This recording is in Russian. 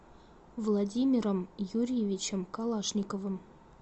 владимиром юрьевичем калашниковым